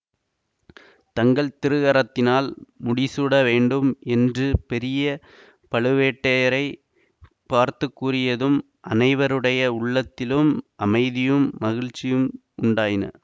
தங்கள் திருக்கரத்தினால் முடிசூட வேண்டும் என்று பெரிய பழுவேட்டயரைப் பார்த்து கூறியதும் அனைவருடைய உள்ளத்திலும் அமைதியும் மகிழ்ச்சியும் உண்டாயின